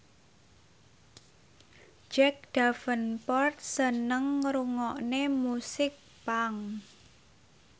Jack Davenport seneng ngrungokne musik punk